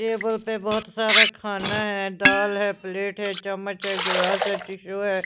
Table पर बहुत सारा खाना है दाल है प्लेट है चम्मच है ग्लास है से टिशु है।